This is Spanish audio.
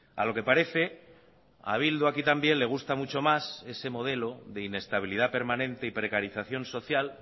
a lo que parece a bildu aquí también le gusta mucho más ese modelo de inestabilidad permanente y precarización social